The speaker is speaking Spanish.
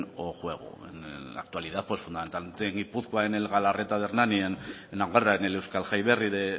o juego en la actualidad pues fundamentalmente en gipuzkoa en el galarreta de hernani en navarra en el euskal jai berri de